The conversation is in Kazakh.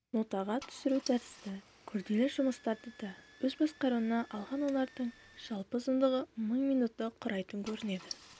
нотаға түсіру тәрізді күрделі жұмыстарды да өз басқаруына алған олардың жалпы ұзақтығы мың минутты құрайтын көрінеді